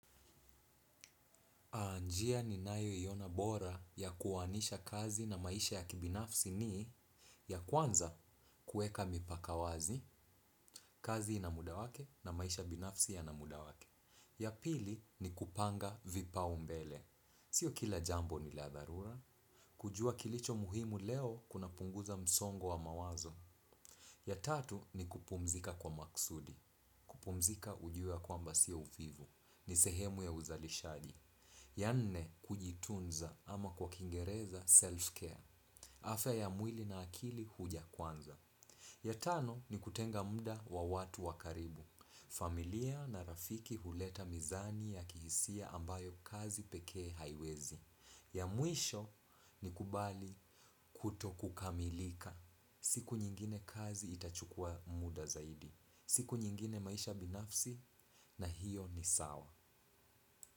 Njia ninayoiona bora ya kuoanisha kazi na maisha ya kibinafsi ni ya kwanza kuweka mipaka wazi, kazi ina muda wake na maisha ya binafsi yana muda wake. Ya pili ni kupanga vipaumbele. Sio kila jambo ni la dharura. Kujua kilicho muhimu leo kunapunguza msongo wa mawazo. Ya tatu ni kupumzika kwa makusudi. Kupumzika ujue ya kwamba sio uvivu. Ni sehemu ya uzalishaji. Ya nne, kujitunza ama kwa kiingereza self-care. Afya ya mwili na akili huja kwanza. Ya tano, ni kutenga muda wa watu wa karibu. Familia na rafiki huleta mizani ya kihisia ambayo kazi pekee haiwezi. Ya mwisho, ni kubali kutokukamilika. Siku nyingine kazi itachukua muda zaidi. Siku nyingine maisha binafsi na hiyo ni sawa.